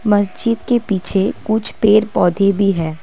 मस्जिद के पीछे कुछ पेड़ पौधे भी हैं।